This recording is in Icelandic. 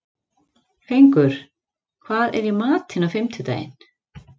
Fengur, hvað er í matinn á fimmtudaginn?